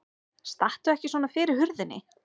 Stattu ekki svona fyrir hurðinni!